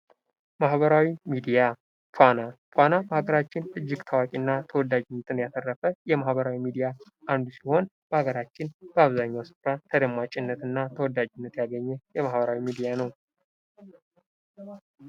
ማህበራዊ ሚድያ ፋና ፋና በሀገራችን እጅግ ታዋቂ እና ተወዳጅነትን ያተረፈ የማህበራዊ ሚድያ አንዱ ሲሆን በሀገራችን በአብዛኛው ስፍራ ተደማጭነት እና ተወዳጅነት ያገኘ የማህበራዊ ሚድያ ነው።